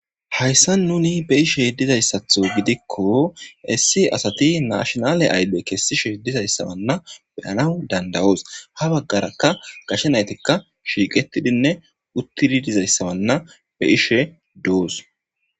hayssa nuni be'ishe yeddizayssatho gidikko issi asati nashonale ayde kessishe dizayssabanna beyana dandawoos ha baggarakka gashe naytikka shiiqetidinne uttidi dizayssawanna be'ishe doos